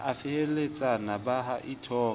a feheletsana ba a ithoka